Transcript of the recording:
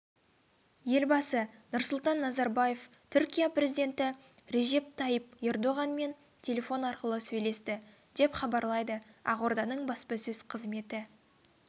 елбасы нұрсұлтан назарбаев түркия президенті режеп тайип ердоғанмен телефон арқылы сөйлесті деп хабарлайды ақорданың баспасөз қызметі